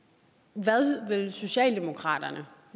hvad vil socialdemokratiet